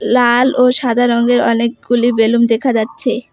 লাল ও সাদা রঙের অনেকগুলি বেলুন দেখা যাচ্ছে।